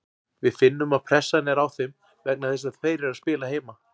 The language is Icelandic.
Við finnum að pressan er á þeim vegna þess að þeir eru að spila heima.